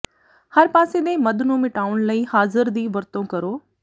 ਹਰ ਪਾਸੇ ਦੇ ਮੱਧ ਨੂੰ ਮਿਟਾਉਣ ਲਈ ਹਾਜ਼ਰ ਦੀ ਵਰਤੋਂ ਕਰੋ